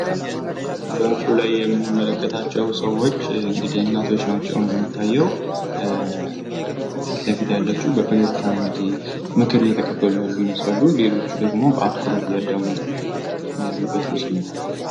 በምስሉ ላይ የምንመለከታቸው ሰዎች እንግዲህ እናቶች ናቸው እንደሚታየው ፊትለፊት ያለችው በፈገግታ እንግዲህ ምክር እየተቀበሉ ይመስላሉ። ሌሎቹ ደግሞ በአትኩሮት እያዳመጡ ያሉበት ምስል ነው።